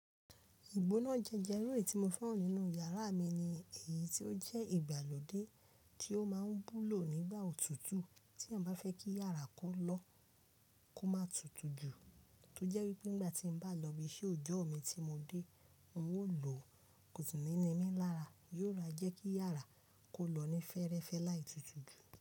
Ìgbóná eleyi tí mo fẹ́ràn nínú yàrá mi ni èyí tí ó jẹ́ ìgbàlódé tí ó máa ń wúlò nígbà òtútù tí èèyàn bá fẹ́ kí yàrá kó lọ kó má tutù jù, tó jẹ́ wípé nígbà tí mo bá lọ ibi iṣẹ́ ọjọ́ mi tí mo dé, ń ó lò kòsi ni ninmí n lára, yóò ma jẹ́ kí yàrá kó lọ ní fẹ́ẹ́rẹ́fẹ́ láì tutù jù.